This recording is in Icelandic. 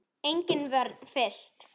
Engin vörn finnst.